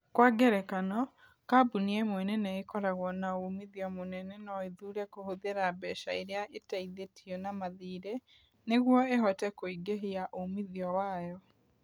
Kwa ngerekano, kambuni ĩmwe nene ĩkoragwo na uumithio mũnene no ĩthuure kũhũthĩra mbeca iria ĩteithĩtio na mathirĩ nĩguo ĩhote kũingĩhia uumithio wayo.